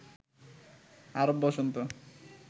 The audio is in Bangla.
আরব বসন্ত